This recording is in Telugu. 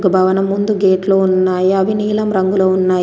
ఒక భవనం ముందు గేట్లు ఉన్నాయి. అవి నీలం రంగులో ఉన్నాయి.